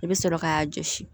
I bɛ sɔrɔ k'a jɔsi